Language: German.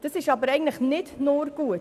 Das ist aber eigentlich nicht nur gut.